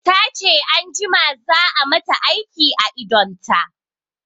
Tace anjima za a mata aiki a idonta